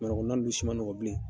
na ninnu si ma nɔgɔn bilen.